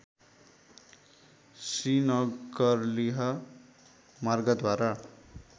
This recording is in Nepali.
श्रीनगरलेह मार्गद्वारा